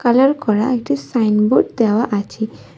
Colour করা একটি signboard দেওয়া আছে।